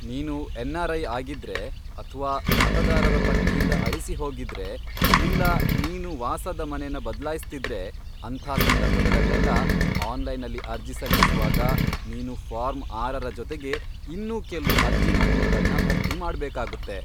ನೀನು ಎನ್ಆರ್ಐ ಆಗಿದ್ರೆ ಅಥ್ವಾ ಮತದಾರರ ಪಟ್ಟಿಯಿಂದ ಅಳಿಸಿಹೋಗಿದ್ರೆ, ಇಲ್ಲಾ ನೀನು ವಾಸದ ಮನೆನ ಬದ್ಲಾಯಿಸ್ತಿದ್ರೆ ಅಂಥ ಸಂದರ್ಭಗಳಲ್ಲೆಲ್ಲ ಆನ್ಲೈನಲ್ಲಿ ಅರ್ಜಿ ಸಲ್ಲಿಸುವಾಗ ನೀನು ಫಾರ್ಮ್ ಆರರ ಜೊತೆಗೆ ಇನ್ನೂ ಕೆಲ್ವು ಅರ್ಜಿ ನಮೂನೆಗಳ್ನ ಭರ್ತಿ ಮಾಡ್ಬೇಕಾಗತ್ತೆ.